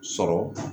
Sɔrɔ